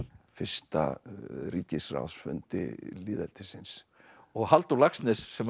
fyrsta ríkisráðsfundi lýðveldisins og Halldór Laxness sem